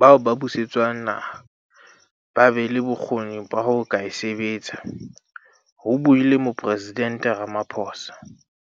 ba buse tswang naha ba be le bokgoni ba ho ka e sebetsa," ho buile Moporesident Rama phosa.